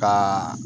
Ka